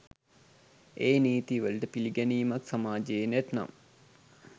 ඒ නීති වලට පිළිගැනීමක් සමාජයේ නැත්නම්.